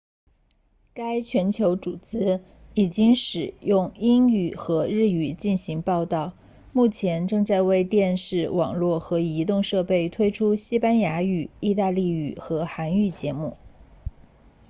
该全球组织已经使用英语和日语进行报道目前正在为电视网络和移动设备推出西班牙语意大利语和韩语节目